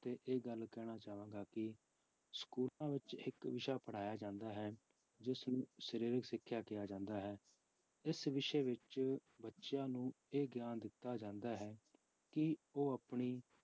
ਤੇ ਇਹ ਗੱਲ ਕਹਿਣਾ ਚਾਹਾਂਗਾ ਕਿ ਸਕੂਲਾਂ ਵਿੱਚ ਇੱਕ ਵਿਸ਼ਾ ਪੜ੍ਹਾਇਆ ਜਾਂਦਾ ਹੈ ਜਿਸਨੂੰ ਸਰੀਰਕ ਸਿੱਖਿਆ ਕਿਹਾ ਜਾਂਦਾ ਹੈ, ਇਸ ਵਿਸ਼ੇ ਵਿੱਚ ਬੱਚਿਆਂ ਨੂੰ ਇਹ ਗਿਆਨ ਦਿੱਤਾ ਜਾਂਦਾ ਹੈ, ਕਿ ਉਹ ਆਪਣੀ